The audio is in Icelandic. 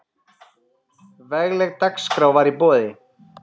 Vegleg dagskrá var í boði.